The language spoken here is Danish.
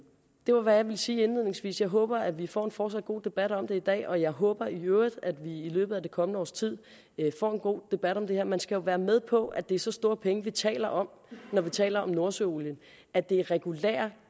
det var hvad jeg ville sige indledningsvis jeg håber at vi får en fortsat god debat om det i dag og jeg håber i øvrigt at vi i løbet af det kommende års tid får en god debat om det her man skal jo være med på at det er så store penge vi taler om når vi taler om nordsøolien at det er en regulær